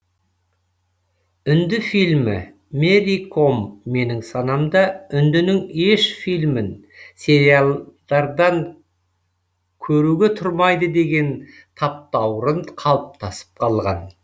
үнді фильмі мэри ком менің санамда үндінің еш фильмін сериялдардан көруге тұрмайды деген таптаурын қалыптасып қалған